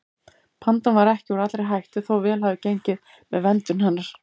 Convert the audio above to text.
Pandan er ekki úr allri hættu þó vel hafi gengið með verndun hennar.